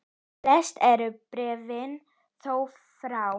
Flest eru bréfin þó frá